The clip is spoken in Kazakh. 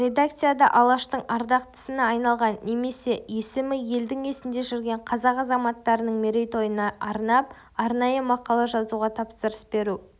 редакцияда алаштың ардақтысына айналған немесе есімі елдің есінде жүрген қазақ азаматтарының мерейтойына арнап арнайы мақала жазуға тапсырыс беру